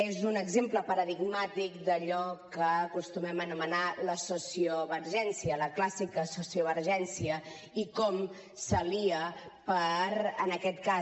és un exemple paradigmàtic d’allò que acostumem a anomenar la sociovergència la clàssica sociovergència i com s’alia en aquest cas